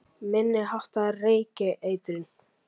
Minni háttar reykeitrun